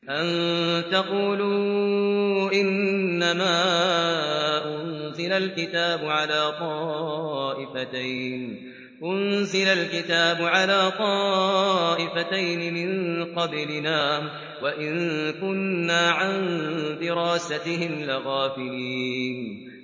أَن تَقُولُوا إِنَّمَا أُنزِلَ الْكِتَابُ عَلَىٰ طَائِفَتَيْنِ مِن قَبْلِنَا وَإِن كُنَّا عَن دِرَاسَتِهِمْ لَغَافِلِينَ